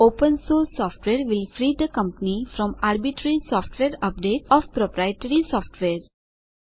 open source software will free the company from arbitrary software updates of proprietary software